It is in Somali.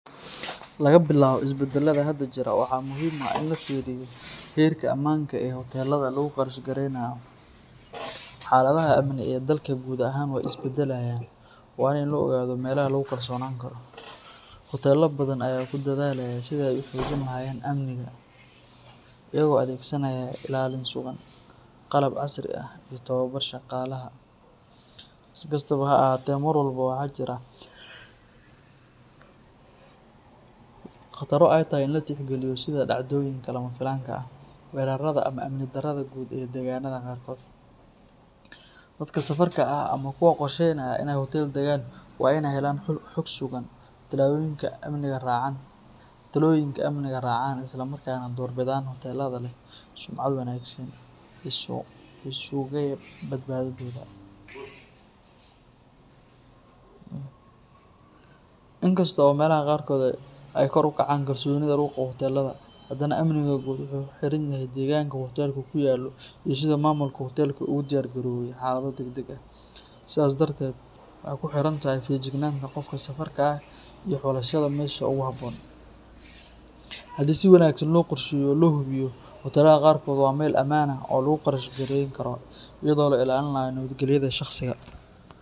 Laga bilaabo isbeddelada hadda jira, waxaa muhiim ah in la fiiriyo heerka amaanka ee hoteelada lagu qarash gareynayo. Xaaladaha amni ee dalka guud ahaan way isbedelayaan, waana in la ogaado meelaha lagu kalsoonaan karo. Hoteelo badan ayaa ku dadaalaya sidii ay u xoojin lahaayeen amniga, iyagoo adeegsanaya ilaalin sugan, qalab casri ah iyo tababar shaqaalaha. Si kastaba ha ahaatee, mar walba waxaa jira khataro ay tahay in la tixgeliyo sida dhacdooyinka lama filaanka ah, weerarada ama amni darrada guud ee deegaanada qaarkood. Dadka safarka ah ama kuwa qorsheynaya inay hoteel degaan waa inay helaan xog sugan, talooyinka amniga raacaan, isla markaana doorbidaan hoteelada leh sumcad wanaagsan oo sugaya badbaadadooda. Inkasta oo meelaha qaarkood ay kor u kacday kalsoonida lagu qabo hoteelada, hadana amniga guud wuxuu ku xiran yahay deegaanka uu hoteelku ku yaallo iyo sida maamulka hoteelku ugu diyaar garoobay xaalado degdeg ah. Sidaas darteed, waxay ku xiran tahay feejignaanta qofka safarka ah iyo xulashada meesha ugu habboon. Haddii si wanaagsan loo qorsheeyo oo loo hubiyo, hoteelada qaarkood waa meel ammaan ah oo lagu qarash gareyn karo iyadoo la ilaalinayo nabadgelyada shaqsiga.